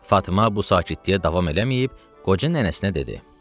Fatma bu sakitliyə davam eləməyib, qoca nənəsinə dedi: